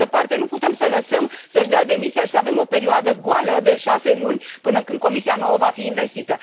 Pe de altă parte, nu putem să l lăsăm să și dea demisia și să avem o perioadă goală, de șase luni, până când Comisia nouă va fi învestită.